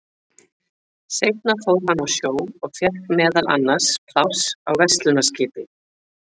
Seinna fór hann á sjó og fékk meðal annars pláss á verslunarskipi.